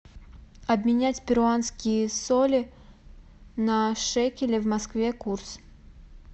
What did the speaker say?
обменять перуанские соли на шекели в москве курс